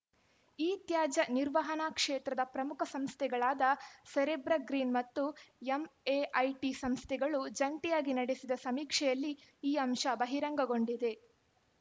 ಇತ್ಯಾಜ್ಯ ನಿರ್ವಹಣಾ ಕ್ಷೇತ್ರದ ಪ್ರಮುಖ ಸಂಸ್ಥೆಗಳಾದ ಸೆರೆಬ್ರ ಗ್ರೀನ್‌ ಮತ್ತು ಎಂಎಐಟಿ ಸಂಸ್ಥೆಗಳು ಜಂಟಿಯಾಗಿ ನಡೆಸಿದ ಸಮೀಕ್ಷೆಯಲ್ಲಿ ಈ ಅಂಶ ಬಹಿರಂಗಗೊಂಡಿದೆ